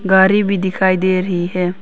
गाड़ी भी दिखाई दे रही है।